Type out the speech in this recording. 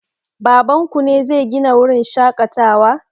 Baban ku ne zai Gina wurin shaƙatawa?